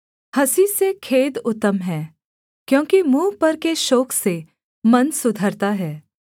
हँसी से खेद उत्तम है क्योंकि मुँह पर के शोक से मन सुधरता है